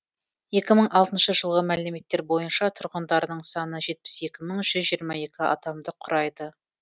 екі мың алтыншы жылғы мәліметтер бойынша тұрғындарының саны жетпіс екі мың жүз жиырма екі адамды құрайды